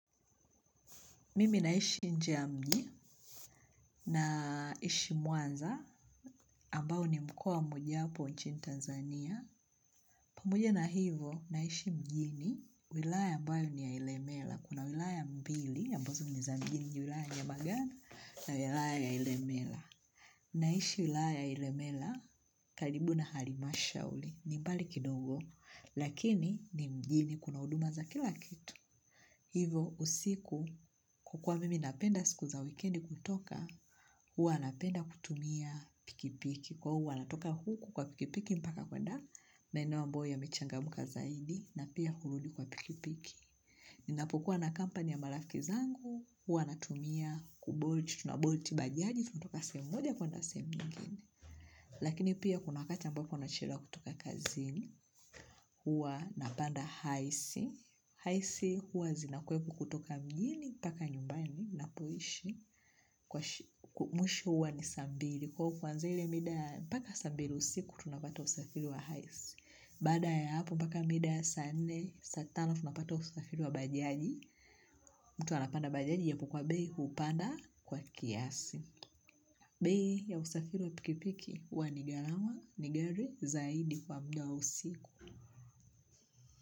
Mimi naishi nje ya mji naishi mwanza ambao ni mkoa mmoja wapo nchini Tanzania. Pamoja na hivo naishi mjini wilaya ambayo ni yailemela. Kuna wilaya mbili ambazo ni za mjini wilaya njia magana na wilaya yailemela. Naishi wilaya yailemela kalibu na harimasha uli ni mbali kidogo lakini ni mjini kuna uduma za kila kitu. Hivo usiku kukua mimi napenda siku za wikendi kutoka, huwa napenda kutumia pikipiki. Kwa huwa natoka huku kwa pikipiki mpaka kwenda maeneo ambayo yamechangam ka zaidi na pia hurudi kwa pikipiki. Ninapokua na kampani ya marafiki zangu, huwa natumia kubolt, tunabuolt bajaji, tunatoka sehemu moja kwenda sehemu nyingine. Lakini pia kuna wakati ambao nachelewa kutoka kazini, huwa napanda haisi, haisi huwa zinakweko kutoka mjini, mpaka nyumbani, napoishi, mwisho huwa ni saa mbili, kwa kuanzia ile mida, mpaka saa mbili usiku, tunapata usafili wa haisi. Baada ya hapo mpaka mida ya saa nne, saa tano funapata usafiri wa bajaji. Mtu anapanda bajaji yapokuwa bei hupanda kwa kiasi. Bei ya usafiiu wa pikipiki huwa nigarama nigari zaidi kwa mda wa usiku.